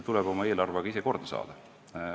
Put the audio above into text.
Tuleb oma eelarve ise korda saada.